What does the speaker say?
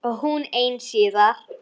Og hún ein síðar.